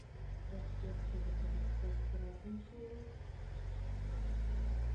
здравствуйте я хочу заказать сет праздничный